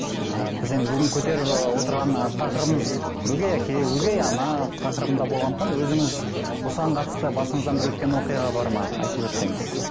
ы біз енді бүгін көтеріп ы отырған ы тақырыбымыз өгей әке өгей ана тақырыбында болғандықтан өзіңіз осыған қатысты басыңыздан бір өткен оқиға бар ма айтып өтсеңіз